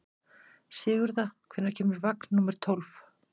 Sigurða, hvenær kemur vagn númer tólf?